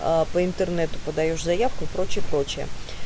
аа по интернету подаёшь заявку и прочее прочее